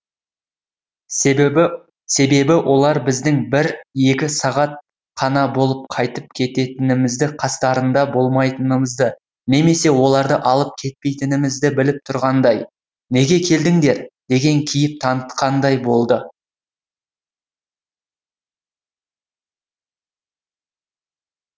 себебі олар біздің бір екі сағат қана болып қайтып кететінімізді қастарында болмайтынымызды немесе оларды алып кетпейтінімізді біліп тұрғандай неге келдіңдер деген кейіп танытқандай болды